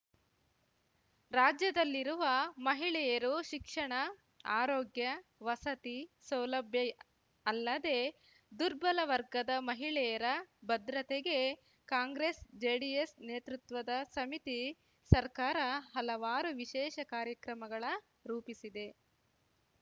ರಾಜ್ಯದಲ್ಲಿರುವ ಮಹಿಳೆಯರು ಶಿಕ್ಷಣ ಆರೋಗ್ಯ ವಸತಿ ಸೌಲಭ್ಯ ಅಲ್ಲದೆ ದುರ್ಬಲ ವರ್ಗದ ಮಹಿಳೆಯರ ಭದ್ರತೆಗೆ ಕಾಂಗ್ರಸ್ ಜೆಡಿಎಸ್ ನೇತೃತ್ಪದ ಸಮಿತಿ ಸರ್ಕಾರ ಹಲವಾರು ವಿಶೇಷ ಕಾರ್ಯಕ್ರಮಗಳ ರೂಪಿಸಿದೆ